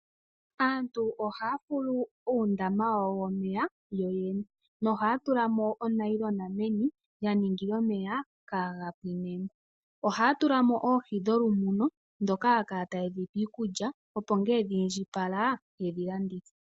Aantu ohaya fulu uundama wawo womeya yoyene nohaya tula mo onayilona meni ya ningila omeya kaga pwine mo. Ohaya tulamo oohi dholu muno dhoka haya kala taye dhipe iikulya opo ngele dhi inji pala yedhi landithe.